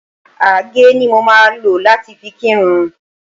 Àgé ni mo máa lò láti fi kírun